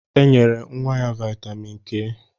E nyere nwa ya vitamin K